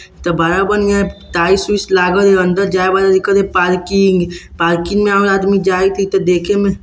त बड़ा बढ़िया में टाईल्स - उईल्स लागल अंदर जाय वाल लिखल है पार्किंग पार्किंग में आउ आदमी जाइत हई त देखे में --